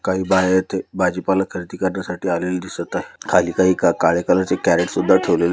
काही बाया येथे भाजीपाला खरेदी करण्यासाठी आलेले दिसत आहे खाली काही काळे कलर चे कैरट सुद्धा ठेवलेले--